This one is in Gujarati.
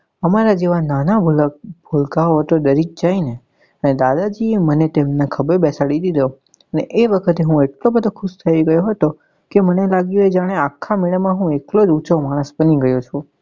અમારા જેવા નાના ભુલક ભૂલકા ઓ તો ડરી જ જાય ને ત્યારે દાદાજી એ મને તેમના ખભે બેસાડી દીધો ને એ વખતે હું એટલો બધો ખુશ થઇ ગયો હતો કે મને લાગ્યું એ જાને આખા મેળા માં હું એકલો જ ઉંચો માણસ બની ગયો છું.